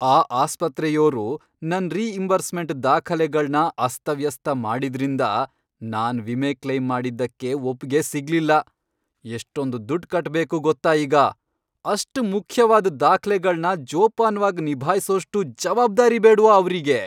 ಆ ಆಸ್ಪತ್ರೆಯೋರು ನನ್ ರೀಇಂಬರ್ಸ್ಮೆಂಟ್ ದಾಖಲೆಗಳ್ನ ಅಸ್ತವ್ಯಸ್ತ ಮಾಡಿದ್ರಿಂದ ನಾನ್ ವಿಮೆ ಕ್ಲೈಮ್ ಮಾಡಿದ್ದಕ್ಕೆ ಒಪ್ಪ್ಗೆ ಸಿಗ್ಲಿಲ್ಲ. ಎಷ್ಟೊಂದ್ ದುಡ್ಡ್ ಕಟ್ಬೇಕು ಗೊತ್ತಾ ಈಗ! ಅಷ್ಟ್ ಮುಖ್ಯವಾದ್ ದಾಖ್ಲೆಗಳ್ನ ಜೋಪಾನ್ವಾಗ್ ನಿಭಾಯ್ಸೋಷ್ಟು ಜವಾಬ್ದಾರಿ ಬೇಡ್ವಾ ಅವ್ರಿಗೆ!